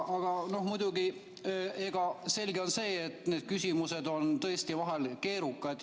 Aga muidugi, selge on see, et küsimused on tõesti vahel keerukad.